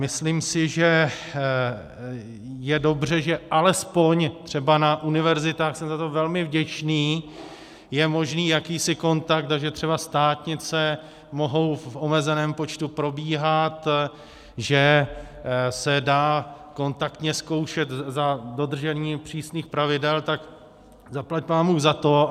Myslím si, že je dobře, že alespoň třeba na univerzitách - jsem za to velmi vděčný - je možný jakýsi kontakt, takže třeba státnice mohou v omezeném počtu probíhat, že se dá kontaktně zkoušet za dodržení přísných pravidel, tak zaplať pánbůh za to.